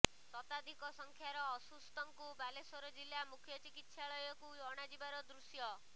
ଶତାଧିକ ସଂଖ୍ୟାର ଅସୁସ୍ଥଙ୍କୁ ବାଲେଶ୍ୱର ଜିଲ୍ଲା ମୁଖ୍ୟ ଚିକିତ୍ସାଳୟକୁ ଅଣାଯିବାର ଦୃଶ୍ୟ